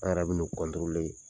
An' yɛrɛ bɛn'u .